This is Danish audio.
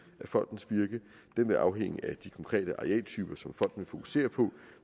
da fondens virke vil afhænge af de konkrete arealtyper som fokusere på